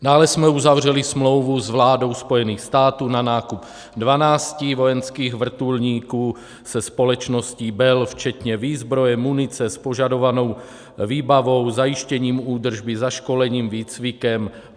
Dále jsme uzavřeli smlouvu s vládou Spojených států na nákup 12 vojenských vrtulníků, se společností Bell, včetně výzbroje, munice, s požadovanou výbavou, zajištěním údržby, zaškolením, výcvikem.